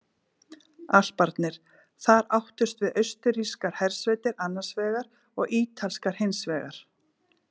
Alparnir: Þar áttust við austurrískar hersveitir annars vegar og ítalskar hins vegar.